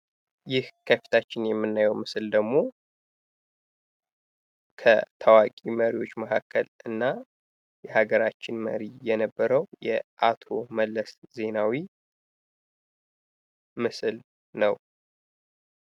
ይህ ከፊታችን የምናየው ምስል ደግሞ ከታዋቂ መሪዎች መካከል እና የሀገራችን መሪ የነበረው የአቶ መለስ ዜናዊ ምስል ነው።